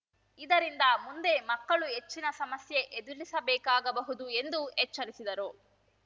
ಇದರಿಂದ ಮುಂದೆ ಮಕ್ಕಳು ಹೆಚ್ಚಿನ ಸಮಸ್ಯೆ ಎದುರಿಸಬೇಕಾಗಬಹುದು ಎಂದು ಎಚ್ಚರಿಸಿದರು